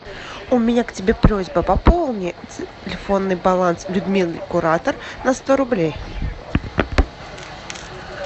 у меня к тебе просьба пополни телефонный баланс людмилы куратор на сто рублей